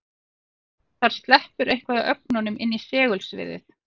Þar sleppur eitthvað af ögnunum inn í segulsviðið.